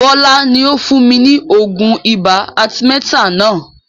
Bọlá ni ó fún mi ní oògùn ibà arthemeter náà